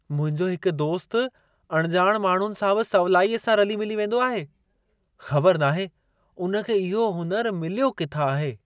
मुंहिंजो हिक दोस्त अणिॼाणु माण्हुनि सां बि सवलाईअ सां रली-मिली वेंदो आहे। ख़बर नाहे उन खे इहो हुनर मिल्यो किथां आहे!